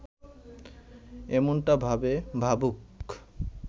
এমনটা ভাবে, ভাবুক